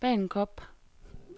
Bagenkop